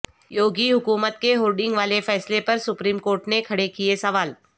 یوگی حکومت کے ہورڈنگ والے فیصلے پر سپریم کورٹ نے کھڑے کیے سوال